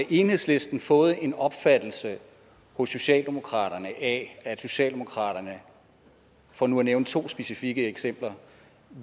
enhedslisten fået en opfattelse hos socialdemokratiet af at socialdemokratiet for nu at nævne to specifikke eksempler